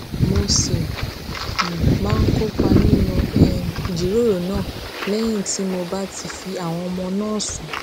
mo sì um máa ń kópa nínú um ìjíròrò náà léyìn tí mo bá ti fi àwọn ọmọ náà sùn